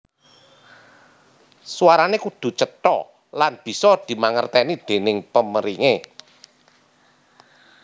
Suarane kudu cetha lan bisa dimangerteni déning pemeringe